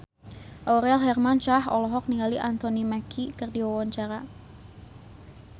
Aurel Hermansyah olohok ningali Anthony Mackie keur diwawancara